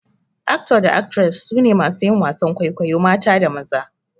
"Actor" da "Actress" su ne masu yin wasan kwaikwayo mata da maza.